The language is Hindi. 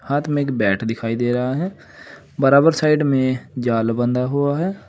हाथ में एक बैट दिखाई दे रहा है बराबर साइड में जाल बंधा हुआ है।